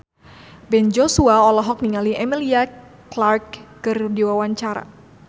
Ben Joshua olohok ningali Emilia Clarke keur diwawancara